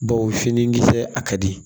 Baw fini kisɛ a ka di